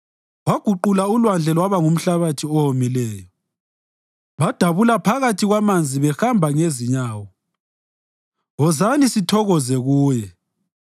Waguqula ulwandle lwaba ngumhlabathi owomileyo, badabula phakathi kwamanzi behamba ngezinyawo wozani sithokoze Kuye.